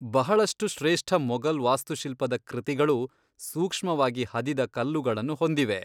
ಬಹಳಷ್ಟು ಶ್ರೇಷ್ಠ ಮೊಘಲ್ ವಾಸ್ತುಶಿಲ್ಪದ ಕೃತಿಗಳು ಸೂಕ್ಷವಾಗಿ ಹದಿದ ಕಲ್ಲುಗಳನ್ನ ಹೊಂದಿವೆ.